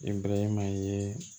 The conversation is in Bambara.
E bɛraman ye